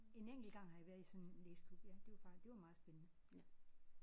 En enkelt gang har jeg været i sådan en læseklub ja det var faktisk det var meget spændende